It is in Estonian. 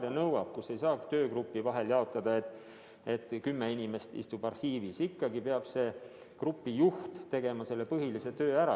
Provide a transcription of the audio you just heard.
Seal ei saa süvenemist töögrupi vahel jaotada, nii et kümme inimest istub arhiivis ja pärast peab grupi juht põhilise töö ära tegema.